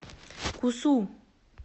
кусу